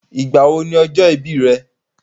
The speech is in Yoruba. Ìgbà wo ni ọjọ́ ìbí re?